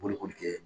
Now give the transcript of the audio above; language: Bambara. Bolokoli kɛ